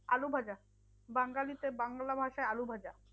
আলু ভাজা, বাঙালি তে বাংলা ভাষায় আলু ভাজা।